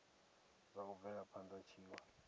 zwa u bvela phana tshiwe